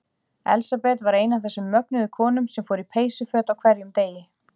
Elsabet var ein af þessum mögnuðu konum sem fór í peysuföt á hverjum degi.